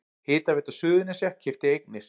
Hitaveita Suðurnesja keypti eignir